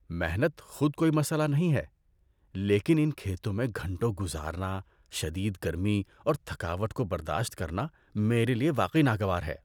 محنت خود کوئی مسئلہ نہیں ہے، لیکن ان کھیتوں میں گھنٹوں گزارنا، شدید گرمی اور تھکاوٹ کو برداشت کرنا، میرے لیے واقعی ناگوار ہے۔